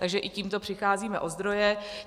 Takže i tímto přicházíme o zdroje.